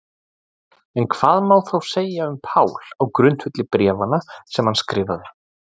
En hvað má þá segja um Pál á grundvelli bréfanna sem hann skrifaði?